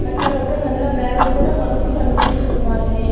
అక్కడ ఒక నల్ల బ్యాగు కూడా మనకు కనిపిస్తున్నావి.